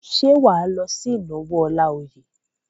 Ṣé wà á lọ sí ìnáwó Ọláoyè?